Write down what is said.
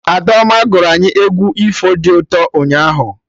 Adaoma gụrụ anyị egwu ifo dị ụtọ ụnyaahụ